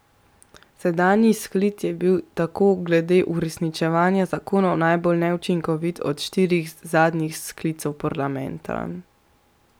Sedanji sklic je bil tako glede uresničevanja zakonov najbolj neučinkovit od štirih zadnjih sklicev parlamenta.